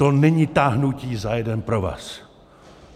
To není táhnutí za jeden provaz.